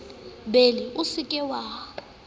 bele o se ke wa